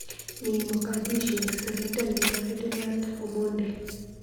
Mii Mogadishu sirindetnyo Ferdinand Omondi